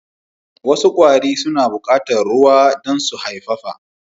Wasu kwari suna bukatar ruwa dan su haifafa